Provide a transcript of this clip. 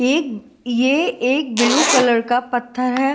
ये एक blue colour का पत्थर है।